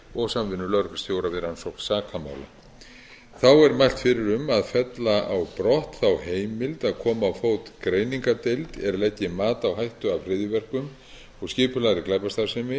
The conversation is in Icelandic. og samvinnu lögreglustjóra við rannsókn sakamála þá er mælt fyrir um að fella á brott þá heimild að koma á fót greiningardeild er leggi mat á hættu af hryðjuverkum og skipulagðri glæpastarfsemi